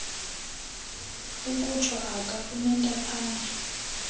ukutsho aka unentaphane